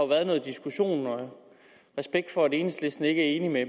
været noget diskussion og respekt for at enhedslisten ikke er enige med